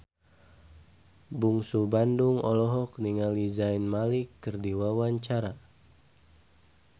Bungsu Bandung olohok ningali Zayn Malik keur diwawancara